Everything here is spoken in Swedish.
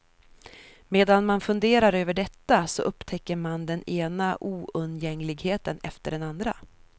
Medan man funderar över detta, så upptäcker man den ena oundgängligheten efter den andra.